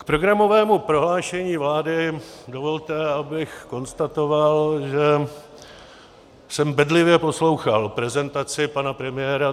K programovému prohlášení vlády dovolte, abych konstatoval, že jsem bedlivě poslouchal prezentaci pana premiéra.